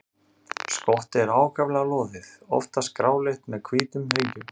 Skottið er ákaflega loðið, oftast gráleitt með hvítum hringjum.